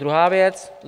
Druhá věc.